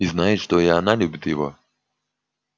и знает что и она любит его